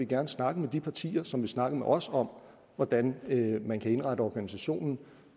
gerne snakke med de partier som vil snakke med os om hvordan man kan indrette organisationen